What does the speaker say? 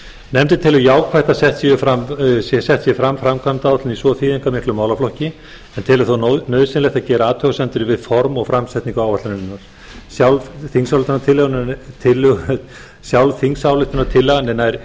nefndin telur jákvætt að sett sé fram framkvæmdaáætlun í svo þýðingarmiklum málaflokki en telur þó nauðsynlegt að gera athugasemdir við form og framsetningu áætlunarinnar sjálf þingsályktunartillagan er nær